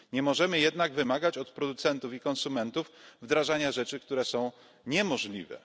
Nie możemy jednak wymagać od producentów i konsumentów wdrażania rzeczy, które są niemożliwe.